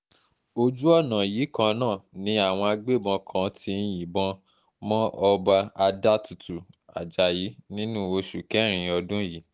ojú ọ̀nà yìí kan náà ni àwọn agbébọn kan ti yìnbọn mọ ọba adátùtù ajayi nínú oṣù kẹrin ọdún yìí